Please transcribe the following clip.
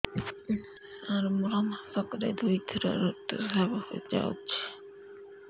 ସାର ମୋର ମାସକରେ ଦୁଇଥର ଋତୁସ୍ରାବ ହୋଇଯାଉଛି